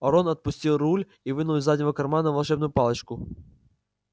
рон отпустил руль и вынул из заднего кармана волшебную палочку